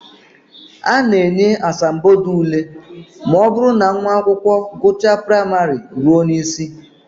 A na-enye asambodo ule ma ọ bụrụ na nwa akwụkwọ gụchaa praịmarị ruo n'isi